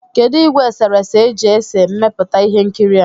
Kedụ ìgwè eserese e ji ese mmepụta ihe nkiri a?